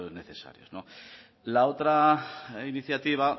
necesarios no la otra iniciativa